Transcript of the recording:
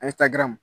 Ale taar